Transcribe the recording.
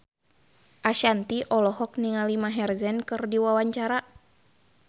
Ashanti olohok ningali Maher Zein keur diwawancara